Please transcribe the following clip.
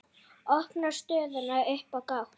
Opnar stöðuna upp á gátt.